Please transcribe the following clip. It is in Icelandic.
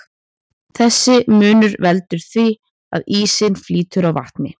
Þessi munur veldur því að ísinn flýtur á vatni.